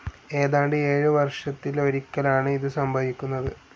ഏതാണ്ട് ഏഴ് വർഷത്തിലൊരിക്കലാണ്‌ ഇത് സംഭവിക്കുന്നത്.